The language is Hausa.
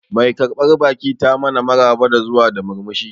Mai karbar baki ta mana maraba da zuwa da murmushi